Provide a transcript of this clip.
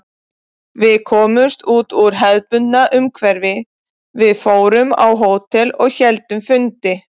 Við komumst út úr hefðbundnu umhverfi, við fórum á hótel og héldum fundi.